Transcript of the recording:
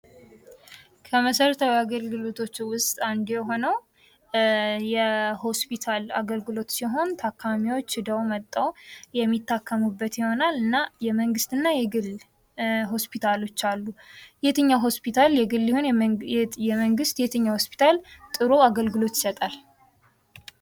ከመሠረታዊ አገልግሎቶች ውስጥ አንዱ የሆነው የሆስፒታል አገልግሎት ሲሆን ታካሚዎች ሂደው መጥተው የሚታከሙበት ይሆናል እና የመንግስት እና የግል ሆስፒታሎች አሉ። የትኛው ሆስፒታል የግል ይሆን የመንግስት የትኛው ሆስፒታል ጥሩ አገልግሎት ይሰጣል።